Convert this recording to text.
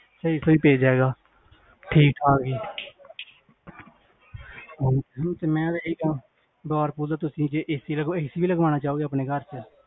ਸਹੀ ਸਹੀ page ਹੈਗਾ ਠੀਕ ਹੈ ਤੇ ਮੈਂ ਇਹੀ ਕਹਨਾ, ਤੁਸੀਂ, ਜੇ AC ਲਗਵਾਓ, AC ਵੀ ਲਗਵਾਨਾ ਚਾਹੋਗੇ ਆਪਣੇ ਘਰ ਚ